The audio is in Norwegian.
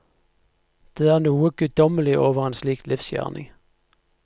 Det er noe guddommelig over en slik livsgjerning.